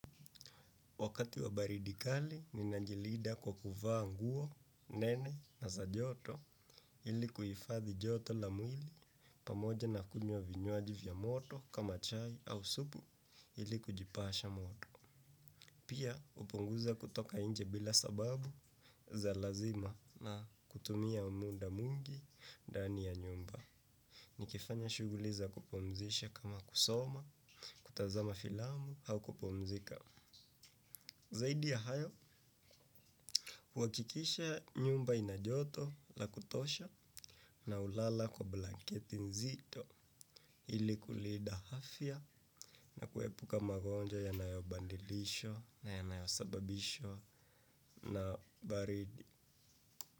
Wakati wa baridi kali, mimi najilinda kwa kuvaa nguo, nene na za joto ili kuifadhi joto la mwili pamoja na kunywa vinywaji vya moto kama chai au supu ili kujipasha moto. Pia hupunguza kutoka nje bila sababu za lazima na kutumia muda mwingi ndani ya nyumba. Nikifanya shughuli za kupumzisha kama kusoma, kutazama filamu au kupumzika. Zaidi ya hayo, huhakikisha nyumba ina joto la kutosha na hulala kwa blanketi nzito ili kulinda afya na kuepuka magonjwa yanayobandilisha na yanayo sababishwa na baridi.